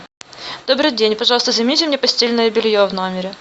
добрый день пожалуйста замените мне постельное белье в номере